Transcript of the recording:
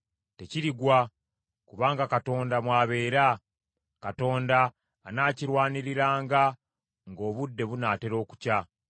Tekirigwa kubanga Katonda mw’abeera. Katonda anaakirwaniriranga ng’obudde bunaatera okukya.